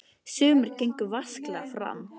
Sumir gengu vasklega fram.